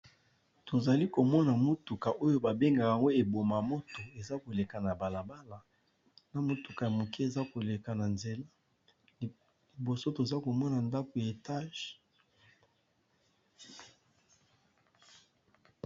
Tozali komona motuka oyo, ba benga yango eboma moto ! eza koleka na balabala na motuka ya moke eza koleka na nzela, liboso toza komona ndako ya etage.